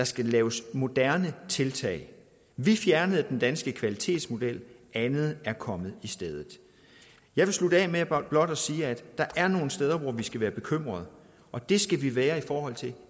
skal laves moderne tiltag vi fjernede den danske kvalitetsmodel andet er kommet i stedet jeg vil slutte af med blot at sige at der er nogle steder hvor vi skal være bekymrede og det skal vi være i forhold til